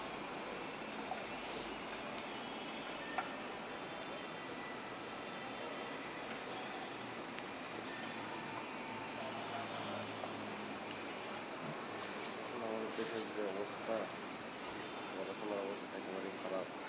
এখন আমাদের দেশের যে অবস্থা পড়াশোনার অবস্থা একেবারেই খারাপ